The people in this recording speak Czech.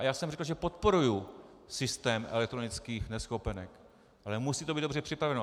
A já jsem řekl, že podporuji systém elektronických neschopenek, ale musí to být dobře připraveno.